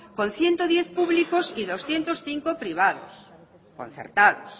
con ciento diez públicos y doscientos cinco privados concertados